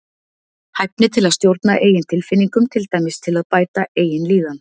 Hæfni til að stjórna eigin tilfinningum, til dæmis til að bæta eigin líðan.